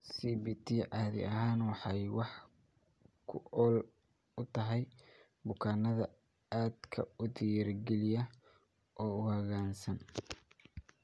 CBT caadi ahaan waxay wax ku ool u tahay bukaanada aadka u dhiirigeliya oo u hoggaansan.